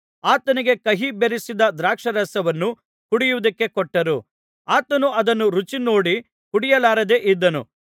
ಆತನಿಗೆ ಕಹಿ ಬೆರಸಿದ ದ್ರಾಕ್ಷಾರಸವನ್ನು ಕುಡಿಯುವುದಕ್ಕೆ ಕೊಟ್ಟರು ಆತನು ಅದನ್ನು ರುಚಿ ನೋಡಿ ಕುಡಿಯಲಾರದೆ ಇದ್ದನು